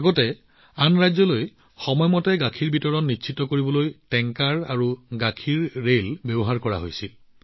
এতিয়ালৈকে আন ৰাজ্যলৈ গাখীৰ সময়মতে ডেলিভাৰীৰ বাবে টেংকাৰ বা গাখীৰৰ ৰেল ব্যৱহাৰ কৰা হৈছিল